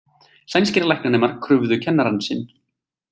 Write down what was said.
Sænskir læknanemar krufðu kennarann sinn